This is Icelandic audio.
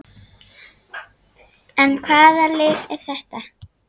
En hvaða lyf er þetta?